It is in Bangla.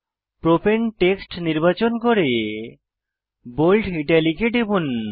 প্রপাণে টেক্সট নির্বাচন করে বোল্ড ইটালিক এ টিপুন